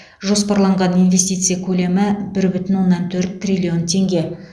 жоспарланған инвестиция көлемі бір бүтін оннан төрт триллион теңге